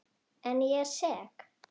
En ég er sek.